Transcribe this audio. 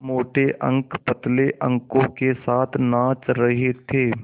मोटे अंक पतले अंकों के साथ नाच रहे थे